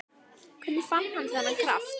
Hvernig fann hann þennan kraft?